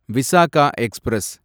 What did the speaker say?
Visakha express